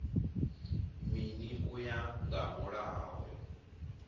mini u ya nga mulayo